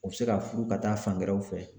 U be se ka furu ka taa fan wɛrɛw fɛ.